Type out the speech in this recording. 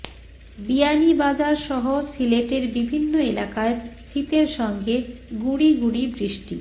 বিয়ানীবাজারসহ সিলেটের বিভিন্ন এলাকায় শীতের সঙ্গে গুঁড়ি গুঁড়ি বৃষ্টি